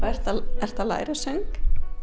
ertu að læra söng